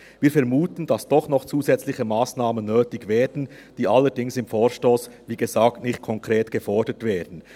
Wir vermuten, dass doch noch zusätzliche Massnahmen nötig werden, die allerdings im Vorstoss, wie gesagt, nicht konkret gefordert werden.